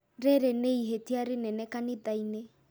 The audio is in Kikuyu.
Rĩrĩ nĩ ihĩtia rĩnene kanitha-inĩ